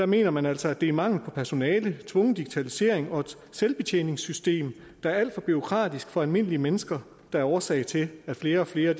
mener man altså at det er mangel på personale tvungen digitalisering og et selvbetjeningssystem der er alt for bureaukratisk for almindelige mennesker der er årsag til at flere og flere